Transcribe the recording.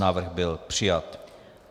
Návrh byl přijat.